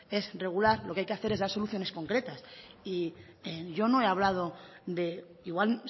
es regular lo que hay que hacer es dar soluciones concretas y yo no he hablado de igual